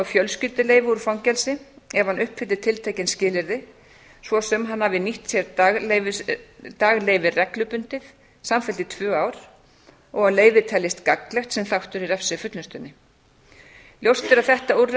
fjölskylduleyfi úr fangelsi ef hann uppfyllir tiltekin skilyrði svo sem hann hafi nýtt sér dagsleyfi reglubundið samfellt í tvö ár og að leyfi teljist gagnlegt sem þáttur í refsifullnustunni ljóst er að þetta